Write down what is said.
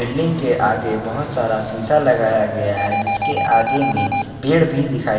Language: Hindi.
बिल्डिंग के आगे बहोत सारा शिशा लगाया गया है जिसके आगे में पेड़ भी दिखाई--